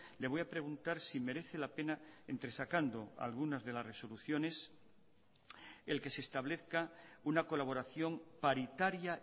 le voy a preguntar si merece la pena entresacando algunas de las resoluciones el que se establezca una colaboración paritaria